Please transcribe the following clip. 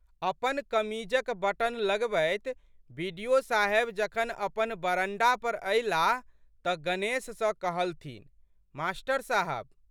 अपन कमीजक बटन लगबैत बि.डि.ओ.साहेब जखन अपन बरंडा पर अयलाह तऽ गणेश सँ कहलथिन, मास्टर साहब!